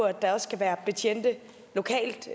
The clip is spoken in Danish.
at der også skal være betjente lokalt